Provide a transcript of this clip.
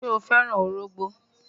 Ṣé o fẹ́ràn ọrọ̀gbó?